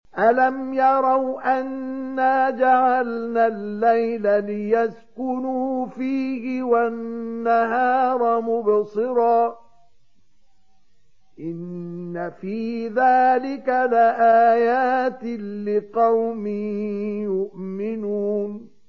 أَلَمْ يَرَوْا أَنَّا جَعَلْنَا اللَّيْلَ لِيَسْكُنُوا فِيهِ وَالنَّهَارَ مُبْصِرًا ۚ إِنَّ فِي ذَٰلِكَ لَآيَاتٍ لِّقَوْمٍ يُؤْمِنُونَ